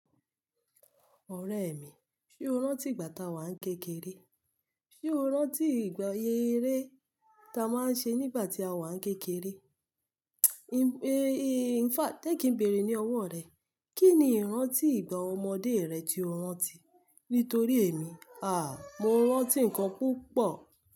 Ọ̀rẹ́ mi, ṣe o rántí ìgbà táa wa ń kékeré? Ṣé o rántí ìgbàyè eré ta a máa ń ṣe nígbà tí a wà ń kékeré? In fact jé ki n béèrè ní ọwọ́ rẹ̀. Kí ni ìrántí ìgbà ọmọdé rẹ tí o rántí? Nítorí èmi à, mo rántí nǹkan púpọ̀